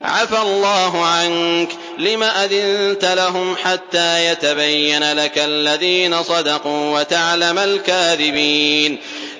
عَفَا اللَّهُ عَنكَ لِمَ أَذِنتَ لَهُمْ حَتَّىٰ يَتَبَيَّنَ لَكَ الَّذِينَ صَدَقُوا وَتَعْلَمَ الْكَاذِبِينَ